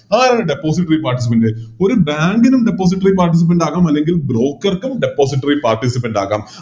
അതാണ് Depository participant ഒരു Bank നും Depository participant ആകാം അല്ലെങ്കിൽ Broker ക്കും Depository paticipant ആകാം